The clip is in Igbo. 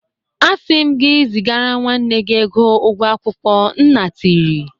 Asị m gị zigara nwanne gị ego ụgwọ akwụkwọ nna tiri